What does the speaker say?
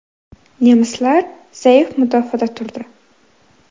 Nemislar zaif mudofaada turdi.